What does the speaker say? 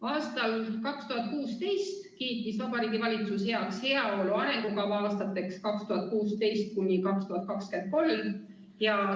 Aastal 2016 kiitis Vabariigi Valitsus heaks heaolu arengukava aastateks 2006–2023.